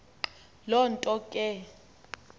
loo nto ke